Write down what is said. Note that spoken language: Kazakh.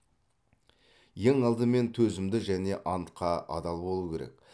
ең алдымен төзімді және антқа адал болу керек